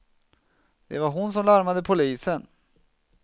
Det var hon som larmade polisen.